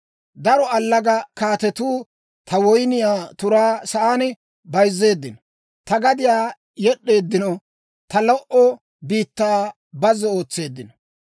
«Daro allaga kaatetuu ta woyniyaa turaa sa'aa bayzzeeddino; ta gadiyaa yed'd'eeddino; ta lo"o biittaa bazzo ootseeddino.